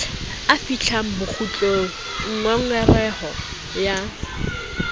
a fihlang bokgutlong ngongoreho ya